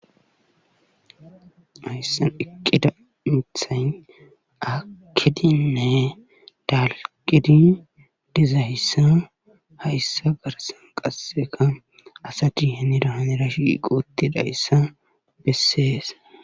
Hayssan eqqiza miththay aakidinne dalgizi dizayssa hayssa garssan qassekka asati hinira hanira shiiqi uttidayssa beesees.